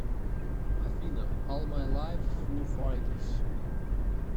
афина ол май лайф фу файтерс